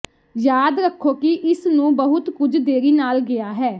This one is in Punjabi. ਯਾਦ ਰੱਖੋ ਕਿ ਇਸ ਨੂੰ ਬਹੁਤ ਕੁਝ ਦੇਰੀ ਨਾ ਗਿਆ ਹੈ